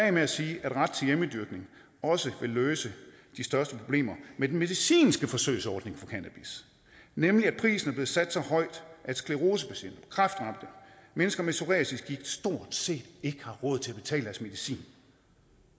af med at sige at ret til hjemmedyrkning også vil løse de største problemer med den medicinske forsøgsordning for cannabis nemlig at prisen er blevet sat så højt at sclerosepatienter kræftramte mennesker med psoriasisgigt stort set ikke har råd til at betale deres medicin